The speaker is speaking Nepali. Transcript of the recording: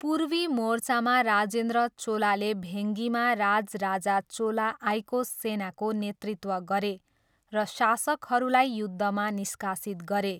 पूर्वी मोर्चामा राजेन्द्र चोलाले भेङ्गीमा राजराजा चोला आइको सेनाको नेतृत्व गरे र शासकहरूलाई युद्धमा निष्कासित गरे।